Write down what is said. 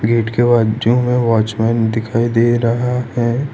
Gate के बाजू में वॉचमैन दिखाई दे रहा है।